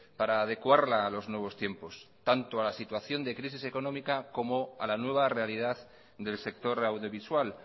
para adecuarla a los nuevos tiempos tanto a la situación de crisis económica como a la nueva realidad del sector audiovisual